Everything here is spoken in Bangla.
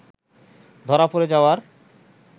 ধরা পড়ে যাওয়ার